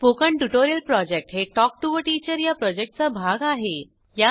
spoken tutorial project हे talk to teacher या प्रॉजेक्टचा भाग आहे